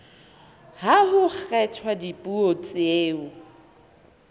ha ho kgethwa dipuo tseo